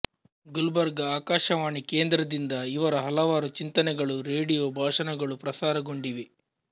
ಗುಲ್ಬರ್ಗ ಆಕಾಶವಾಣಿ ಕೇಮದ್ರದಿಂದ ಇವರ ಹಲವಾರು ಚಿಂತನೆಗಳು ರೇಡಿಯೋ ಭಾಷಣಗಳು ಪ್ರಸಾರಗೊಂಡಿವೆ